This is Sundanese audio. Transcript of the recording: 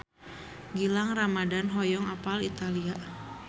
Gilang Ramadan hoyong apal Italia